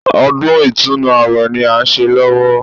Ọdún Ìtúnu àwẹ̀ ni à ń ṣe lọ́wọ́